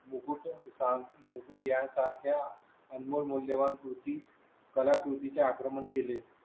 मुकुटा सांग मुद्या सारख्या अनमोल मूल्य वान कृती. कलाकृती च्या आक्रमण केले.